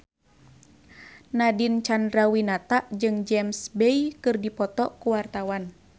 Nadine Chandrawinata jeung James Bay keur dipoto ku wartawan